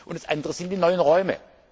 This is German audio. wird. Das andere sind die neuen Räume.